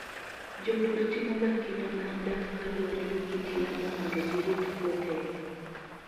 Jopur timoga kinda mar dak kaluwore gi kit yamo mondo girit puothegi.